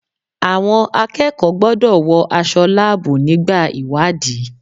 Àwọn akẹ́kọ̀ọ́ gbọ́dọ̀ wọ aṣọ láàbù nígbà ìwádìí.